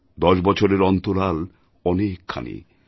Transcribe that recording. দশ বছরের অন্তরাল অনেকখানি